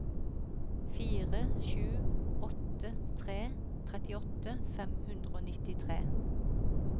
fire sju åtte tre trettiåtte fem hundre og nittitre